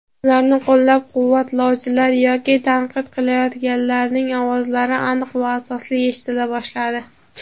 ularni qo‘llab-quvvatlovchilar yoki tanqid qilayotganlarning ovozlari aniq va asosli eshitila boshladi.